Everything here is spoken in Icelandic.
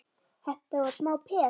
Þetta var smá peð!